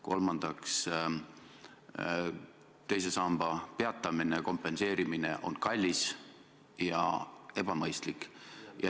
Kolmandaks, teise sambasse kogumise peatamine ja kompenseerimine on kallis ja ebamõistlik.